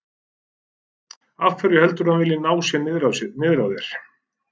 Af hverju heldurðu að hann vilji ná sér niðri á þér?